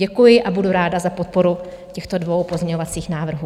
Děkuji a budu ráda za podporu těchto dvou pozměňovacích návrhů.